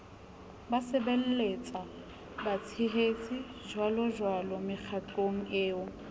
basebelletswa batshehetsi jjwalojwalo mekgatlong eo